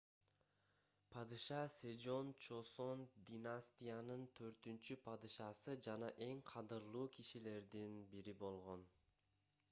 падыша сежон чосон династиянын 4-падышасы жана эң кадырлуу кишилердин бири болгон